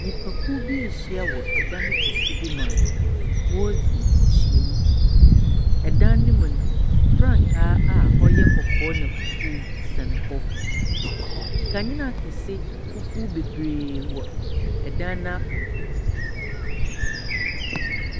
Nyimpakuw bi ehyia wɔ dan kɛse bi mu a woridzi ehyiam. Dan no mu no, frankaa a ɔyɛ kɔkɔɔ na fufuw sɛn hɔ. Nkanyena kɛse fufuo bebree wɔ dan no apampam.